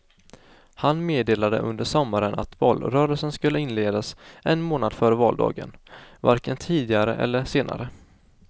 Han meddelade under sommaren att valrörelsen skulle inledas en månad före valdagen, varken tidigare eller senare.